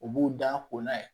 U b'u da ko n'a ye